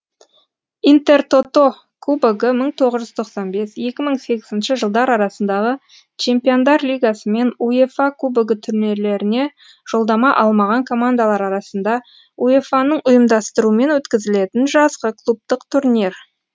интертото кубогы мың тоғыз жүз тоқсан бес екі мың сегізінші жылдар арасындағы чемпиондар лигасы мен уефа кубогы турнирлеріне жолдама алмаған командалар арасында уефа ның ұйымдастыруымен өткізілетін жазғы клубтық турнир